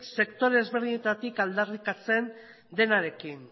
sektore ezberdinetatik aldarrikatzen denarekin